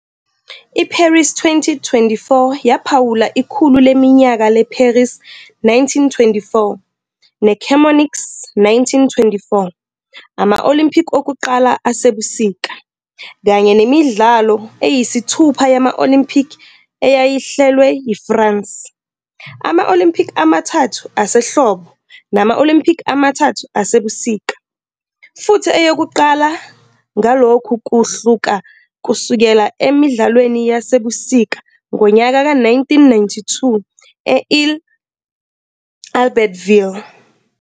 IParis 2024 yaphawula ikhulu leminyaka leParis 1924 neChamonix 1924, ama-Olympic okuqala asebusika, kanye nemidlalo yesithupha yama-Olympi eyayihlelwe yiFrance, ama-Alympic amathathu asehlobo nama-Olylimpiki amathathu asebusika, futhi eyokuqala ngalokhu kuhluka kusukela eMidlalweni Yasebusika ngonyaka ka-1992 e-I-Albertville.